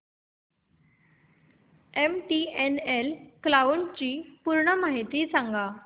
MTNL cloud ची पूर्ण माहिती सांग